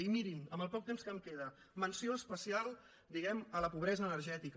i mirin amb el poc temps que em queda menció especial diguemne a la pobresa energètica